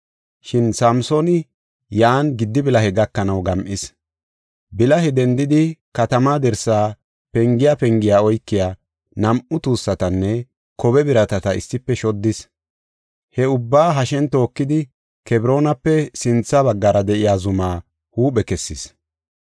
Shin Samsooni yan gidi bilahe gakanaw gam7is. Bilahe dendidi katamaa dirsa pengiya, pengiya oykiya nam7u tuussatanne kobe biratata issife shoddis. He ubbaa hashen tookidi Kebroonape sintha baggara de7iya zumaa huuphe kessis.